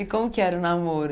E como que era o namoro?